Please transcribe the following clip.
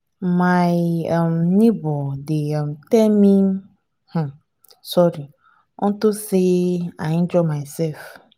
my um neighbor dey um tell me um sorry unto say i injure myself